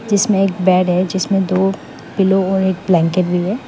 जिसमें एक बेड है जिसमें दो पिलो और एक ब्लैंकेट भी है।